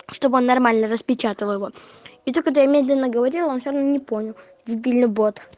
чтобы нормально распечатал его и то когда я медленно говорил он всё равно не понял дебильный бот